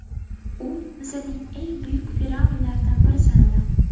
U Misrning eng buyuk fir’avnlaridan biri sanaladi.